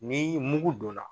Ni mugu donna.